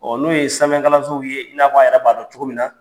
Ɔ n'o ye sanfɛkalansow ye i n'a fɔ a yɛrɛ b'a dɔn cogo min na.